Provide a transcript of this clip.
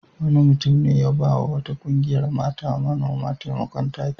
Wani mutum ne ya ba wa wata ƙungiyar mata manoma taimakon taki.